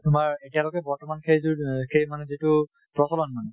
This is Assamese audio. তোমাৰ এতিয়া লৈকে বৰ্তমান সেই যু এহ সেই মানে যিটো প্ৰচলন মানে